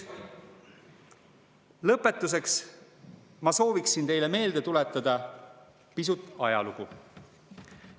Lõpetuseks ma soovin teile meelde tuletada pisut ajalugu.